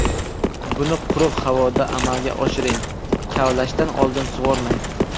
Buni quruq havoda amalga oshiring, kavlashdan oldin sug‘ormang.